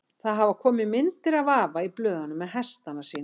Það hafa komið myndir af afa í blöðunum með hestana sína.